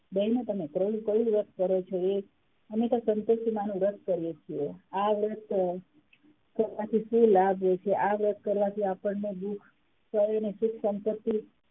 બહેનો તમે ત્રણેય કયું વ્રત કરો છો અમે તો સંતોષીમાંનું વ્રત કરીયે છે આ વ્રત કરવાથી શું લાભ હોય છે આ વ્રત કરવાથી આપણને દુખ શરીર અને સુખ સંપન્તિ,